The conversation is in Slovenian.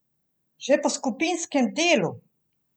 Že po skupinskem delu!